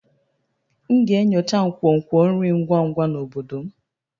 M ga-enyocha nkwonkwo nri ngwa ngwa na obodo m